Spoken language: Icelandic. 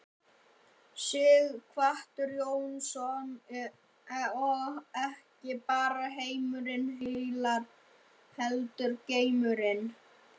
Sighvatur Jónsson: Og ekki bara heimurinn heillar heldur geimurinn?